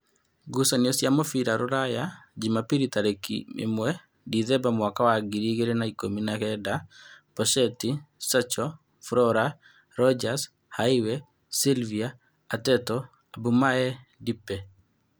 Ngucanio cia mũbira Rūraya Jumabiri tarĩki ĩmwe ndithemba mwaka wa ngiri igĩrĩ na ikũmi na kenda: Posheti, Sacho, Flora, Ronjas, Haiwe, Silvia, Ateto, Abumaye, Ndipe